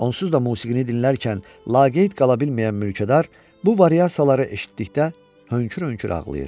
Onsuz da musiqini dinlərkən laqeyd qala bilməyən mülkədar, bu variasiyaları eşitdikdə hönkür-hönkür ağlayır.